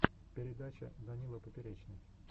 передача данила поперечный